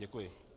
Děkuji.